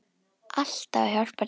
Alltaf að hjálpa til.